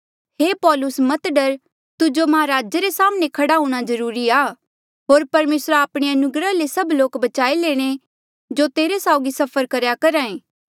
हे पौलुस मत डर तुजो महाराजे रे साम्हणें खड़े हूंणां जरूरी आ होर परमेसरा आपणे अनुग्रहा ले सभ लोक बचाई लेणे जो तेरे साउगी सफर करेया करहा ऐें